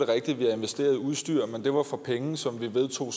rigtigt at vi har investeret i udstyr men det var for penge som vi vedtog